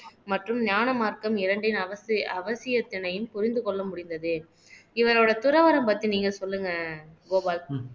மற்றும் ஞான மார்க்கம் இரண்டின் அவசி அவசியத்தினையும் புரிந்து கொள்ள முடிந்தது இவரோட துறவறம் பத்தி நீங்க சொல்லுங்க கோபால்